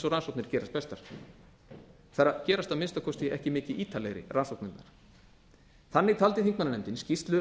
og rannsóknir gerast bestar þær gerast að minnsta kosti ekki mikið ítarlegri rannsóknirnar þannig taldi þingmannanefndin skýrslu